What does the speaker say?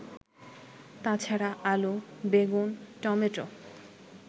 তাছাড়া আলু, বেগুন, টমেটো